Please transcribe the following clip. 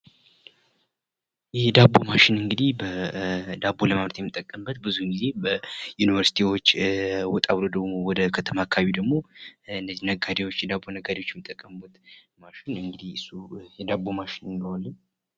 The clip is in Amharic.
የዳቦ ማሽን እንግዲህ ዳቦን ለማምረት የምንጠቀምበት ብዙውን ጊዜ በዩኒቨርሲቲዎች ወጣ ብሎ ደሞ ወደ ከተማ አካባቢ ደሞ እነዚ ነጋዴዎች የዳቦ ነጋዴዎች የሚጠቀሙበት ማሽን እንግዲህ እሱን የዳቦማሽን እንለዋለን።